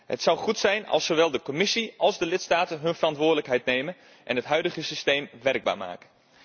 Het zou goed zijn als zowel de Commissie als de lidstaten hun verantwoordelijkheid nemen en het huidige systeem werkbaar maken.